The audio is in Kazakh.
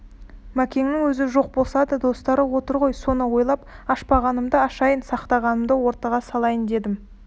мәкеннің өзі жоқ болса да достары отыр ғой соны ойлап ашпағанымды ашайын сақтағанымды ортаңа салайын дедім